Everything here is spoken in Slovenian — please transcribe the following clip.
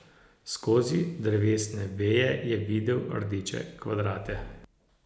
Skozi drevesne veje je videl rdeče kvadrate.